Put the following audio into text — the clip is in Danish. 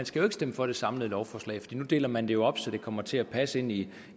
skal stemme for det samlede lovforslag nu deler man det jo op så det kommer til at passe ind i